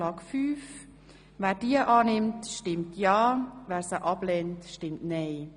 Wer diese annehmen will, stimmt ja, wer sie ablehnt, stimmt nein.